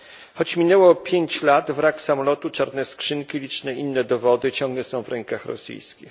Choć minęło pięć lat, wrak samolotu, czarne skrzynki, liczne inne dowody ciągle są w rękach rosyjskich.